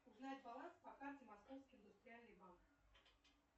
узнать баланс по карте московский индустриальный банк